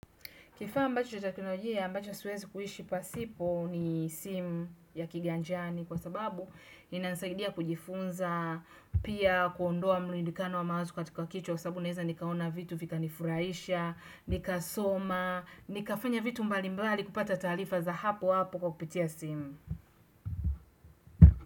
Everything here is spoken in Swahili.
Kifaa ambacho cha teknolojia ambacho siwezi kuhishi pasipo ni simu ya kiganjani kwa sababu ina nisaidia kujifunza, pia kuondoa mrundikano wa maazo katika kichwa kwa sababu naeza nikaona vitu vika kufurahisha, nika soma, nikafanya vitu mbalimbali kupata taarifa za hapo hapo kwa kupitia simu.